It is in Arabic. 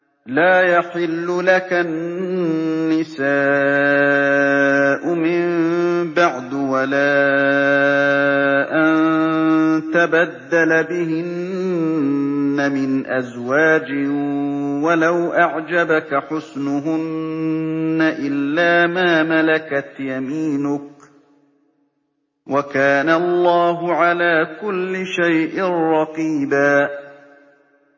لَّا يَحِلُّ لَكَ النِّسَاءُ مِن بَعْدُ وَلَا أَن تَبَدَّلَ بِهِنَّ مِنْ أَزْوَاجٍ وَلَوْ أَعْجَبَكَ حُسْنُهُنَّ إِلَّا مَا مَلَكَتْ يَمِينُكَ ۗ وَكَانَ اللَّهُ عَلَىٰ كُلِّ شَيْءٍ رَّقِيبًا